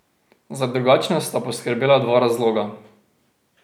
Za drugačnost sta poskrbela dva razloga.